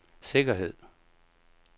sikkerhed